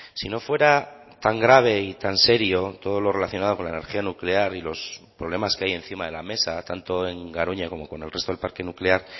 si no fuera tan grave y tan serio todo lo relacionado con la energía nuclear y los problemas que hay encima de la mesa tanto en garoña como con el resto del parque nuclear